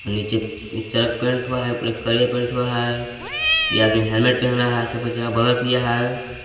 नीचे चरक पेंट हुआ है ऊपर एक करिया पेंट हुआ है ये आदमी हेलमेट पहना है सबका चेहरा ब्लर किया है।